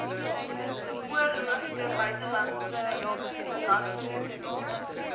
geoorloofde buitelandse belastingkrediete